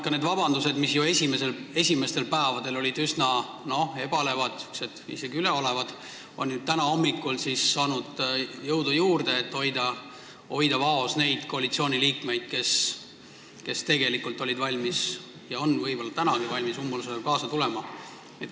Ka vabandused olid esimestel päevadel ju üsna ebalevad, isegi üleolevad, aga täna hommikul on nad saanud jõudu juurde, et hoida vaos neid koalitsiooniliikmeid, kes tegelikult olid valmis ja on võib-olla tänagi valmis umbusaldamisega kaasa tulema.